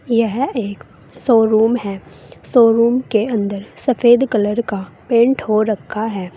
यह एक शोरूम है शोरूम के अंदर सफेद कलर का पेंट हो रखा है।